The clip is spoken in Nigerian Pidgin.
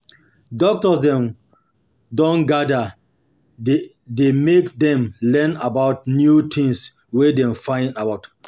Doctor dem don gada there make dem learn about new tins wey dem find out.